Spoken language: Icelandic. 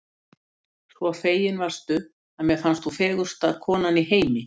svo fegin varstu, að mér fannst þú fegursta konan í heimi.